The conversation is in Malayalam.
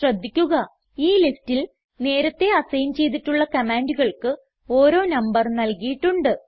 ശ്രദ്ധിക്കുക ഈ ലിസ്റ്റിൽ നേരത്തേ അസൈൻ ചെയ്തിട്ടുള്ള കമാൻഡുകൾക്ക് ഓരോ നമ്പർ നൽകിയിട്ടുണ്ട്